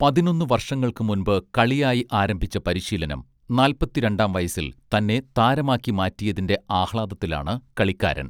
പതിനൊന്നു വർഷങ്ങൾക്ക് മുൻപ് കളിയായി ആരംഭിച്ച പരിശീലനം നാൽപ്പത്തിരണ്ടാം വയസ്സിൽ തന്നെ താരമാക്കി മാറ്റിയതിന്റെ ആഹ്ലാദത്തിലാണ് കളിക്കാരൻ